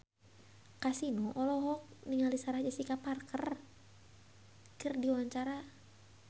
Kasino olohok ningali Sarah Jessica Parker keur diwawancara